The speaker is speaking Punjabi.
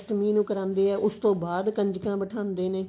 ਅਸਟਮੀ ਨੂੰ ਕਰਾਉਂਦੇ ਆ ਉਸ ਤੋਂ ਬਾਅਦ ਕੰਜਕਾਂ ਬਠਾਉਂਦੇ ਨੇ